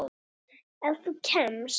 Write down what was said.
Ef þú kemst?